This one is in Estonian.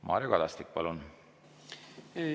Mario Kadastik, palun!